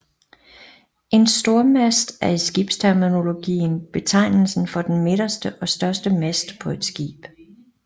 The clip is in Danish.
En Stormast er i skibsterminologien betegnelsen for den midterste og største mast på et skib